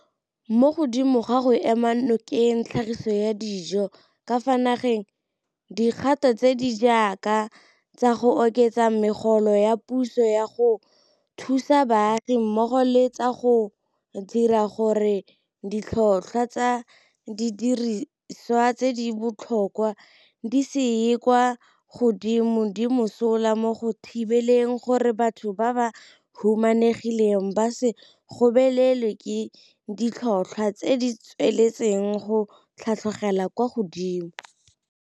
Mo godimo ga go ema nokeng tlhagiso ya dijo ka fa nageng, dikgato tse di jaaka tsa go oketsa megolo ya puso ya go thusa baagi mmogo le tsa go dira gore ditlhotlhwa tsa didirisiwa tse di botlhokwa di se ye kwa godimo di mosola mo go thibeleng gore batho ba ba humanegileng ba se gobelelwe ke ditlhotlhwa tse di tsweletseng go tlhatlhogela kwa godimo.